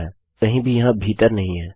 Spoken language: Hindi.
अब अराय कहीं भी यहाँ भीतर नहीं है